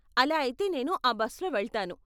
అలా అయితే నేను ఆ బస్లో వెళ్తాను.